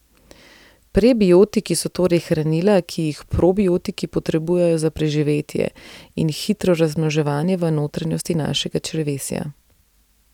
Prebiotiki so torej hranila, ki jih probiotiki potrebujejo za preživetje in hitro razmnoževanje v notranjosti našega črevesja.